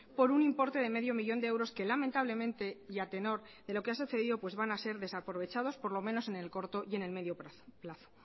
por un importe de medio millón de euros que lamentablemente y a tenor de lo que ha sucedido van a ser desaprovechados por lo menos en el corto y en el medio plazo